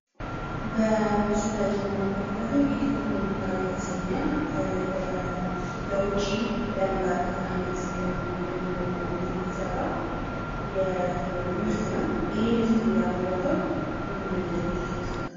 በምስሉ ላይ የምንመለከተው ኢትዮ ሞሪንጋ የተሰኘ ለውጪ ለመላክ አይነት በሚሆኑ እንትን የተሰራ ምርት ነው። ይህ ምርት ያመረተው ምን ድርጅት ይመስላል?